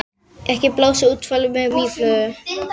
Ekki blása úlfalda úr mýflugu